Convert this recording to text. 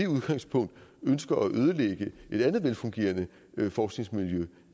udgangspunkt ønsker at ødelægge et andet velfungerende forskningsmiljø